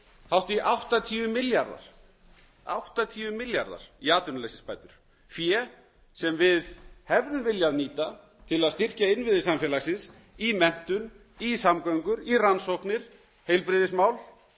hátt í áttatíu milljarðar í atvinnuleysisbætur fé sem við hefðum viljað nýta til að styrkja innviði samfélagsins í menntun í samgöngur í rannsóknir og heilbrigðismál